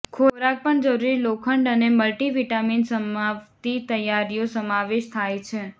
ખોરાક પણ જરૂરી લોખંડ અને મલ્ટીવિટામીન સમાવતી તૈયારીઓ સમાવેશ થાય છે